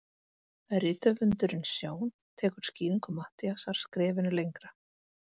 Rithöfundurinn Sjón tekur skýringu Matthíasar skrefinu lengra.